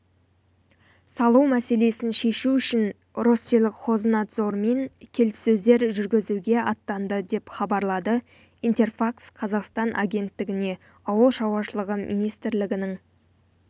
салу мәселесін шешу үшін россельхознадзормен келіссөздер жүргізуге аттанды деп хабарлады интерфакс-қазақстан агенттігіне ауыл шаруашылығы министрінің